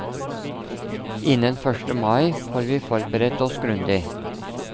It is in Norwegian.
Innen første mai får vi forberedt oss grundig.